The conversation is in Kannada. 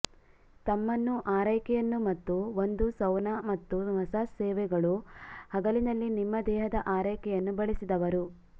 ತಮ್ಮನ್ನು ಆರೈಕೆಯನ್ನು ಮತ್ತು ಒಂದು ಸೌನಾ ಮತ್ತು ಮಸಾಜ್ ಸೇವೆಗಳು ಹಗಲಿನಲ್ಲಿ ನಿಮ್ಮ ದೇಹದ ಆರೈಕೆಯನ್ನು ಬಳಸಿದವರು